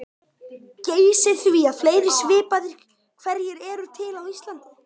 Geysi því að fleiri svipaðir hverir eru til á Íslandi.